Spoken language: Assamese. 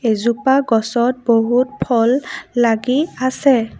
এজোপা গছত বহুত ফল লাগি আছে।